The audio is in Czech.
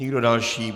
Nikdo další.